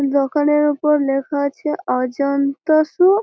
দোকানের ওপর লেখা আছে অজন্তা -সু ।